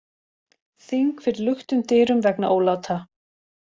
Þing fyrir luktum dyrum vegna óláta